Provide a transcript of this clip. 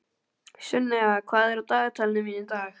Sunnefa, hvað er á dagatalinu mínu í dag?